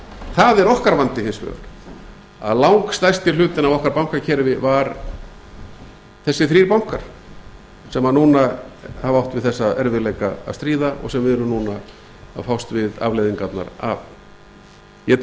það er okkar vandi hins vegar að langstærsti hlutinn af okkar bankakerfi var þessir þrír bankar sem núna hafa átt við þessa erfiðleika að stríða og sem við erum núna að fást við afleiðingarnar af ég